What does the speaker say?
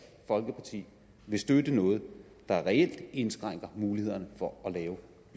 folkeparti vil støtte noget der reelt indskrænker mulighederne for